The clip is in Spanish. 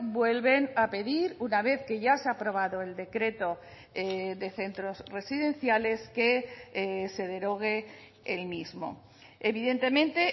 vuelven a pedir una vez que ya se ha aprobado el decreto de centros residenciales que se derogue el mismo evidentemente